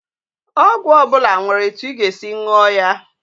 Ọgwụ ọbụla nwere etu ị ga-esi nwụọ ya